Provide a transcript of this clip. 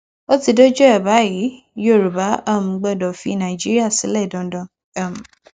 ó ti dójú ẹ báyìí yoruba um gbọdọ fi nàìjíríà sílẹ dandan um